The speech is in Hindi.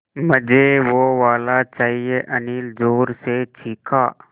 मझे वो वाला चाहिए अनिल ज़ोर से चीख़ा